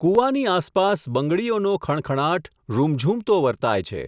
કૂવાની આસપાસ, બંગડીઓનો ખણખણાટ, રૂમઝૂમતો વર્તાય છે.